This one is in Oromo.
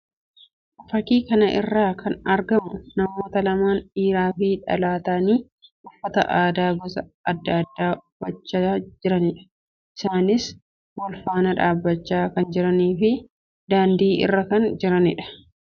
Fakkii kana irratti kan argamu namoota lamaan dhiiraa fi dhalaa ta'anii uffata aadaa gosa addaa addaa uffachaa jiraniidha. Isaannis wal faana dhaabbachaa kan jiranii fi daandii irraa kan jiranii dha.